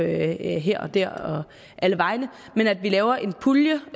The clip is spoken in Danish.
her og der og alle vegne men at vi laver en pulje